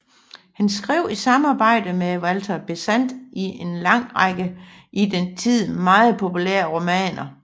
Han skrev i samarbejde med Walter Besant en lang række i den tid meget populære romaner